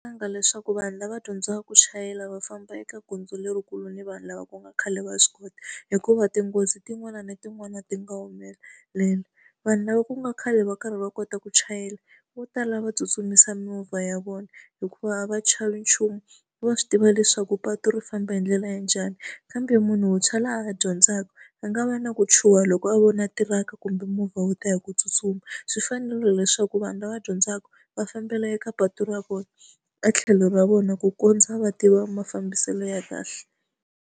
Leswaku vanhu lava dyondzaka ku chayela va famba eka gondzo lerikulu ni vanhu lava ku nga khale va swi kota, hikuva tinghozi tin'wana na tin'wana ti nga humelela. Vanhu lava ku nga khale va karhi va kota ku chayela vo tala va tsutsumisa mimovha ya vona hikuva a va chavi nchumu, va swi tiva leswaku patu ri famba hi ndlela ya njhani. Kambe munhu wuntshwa loyi a ha dyondzaka, a nga va na ku chuha loko a vona tiraka kumbe movha wu ta hi ku tsutsuma. Swi fanela leswaku vanhu lava dyondzaka va fambela eka patu ra vona e tlhelo ra vona ku kondza va tiva mafambiselo ya kahle.